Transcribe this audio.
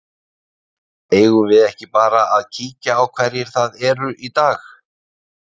Eigum við ekki bara að kíkja á hverjir það eru í dag?